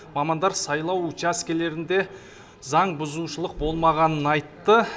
мамандар сайлау учаскелерінде заңбұзушылық болмағанын айтты